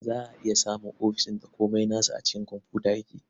Za a iya samun ofis ɗin da komai nasu a cikin komfuta yake.